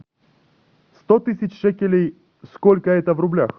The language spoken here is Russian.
сто тысяч шекелей сколько это в рублях